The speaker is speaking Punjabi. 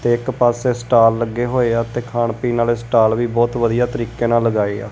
ਤੇ ਇੱਕ ਪਾਸੇ ਸਟਾਲ ਲੱਗੇ ਹੋਏ ਆ ਤੇ ਖਾਣ ਪੀਣ ਆਲੇ ਸਟਾਲ ਵੀ ਬਹੁਤ ਵਧੀਆ ਤਰੀਕੇ ਨਾਲ ਲਗਾਏ ਆ।